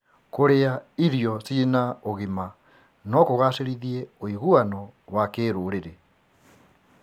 Kũrĩa irio cina ũgima no kũgacĩrithie ũiguano wa kĩrũrĩrĩ.